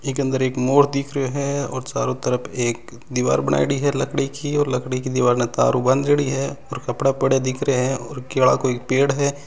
इक अन्दर एक मोर दिख रहियो है और चारो तरफ एक दिवार बनायोडी है लकड़ी की और लकड़ी की दिवार ने तार उ बाँध्योङी है और कपडा पड़या दिख रहिया है और केला कोई पेड़ है।